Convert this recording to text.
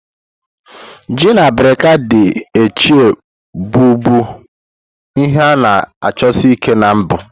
Ji na abirika ndi Etche bụbu ihe a-na achosi Ike na mbu.